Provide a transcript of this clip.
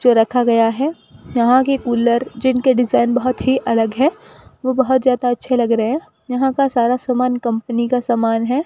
जो रखा गया है यहां की कूलर जिनके डिजाइन बहुत ही अलग है वो बहुत ज्यादा अच्छे लग रहे हैं यहां का सारा सामान कंपनी का सामान है।